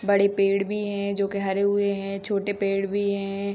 बड़े पेड़ भी हैं जो के हरे हुए हैं छोटे पेड़ भी हैं।